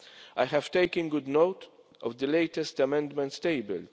I have taken good note of the latest amendments tabled.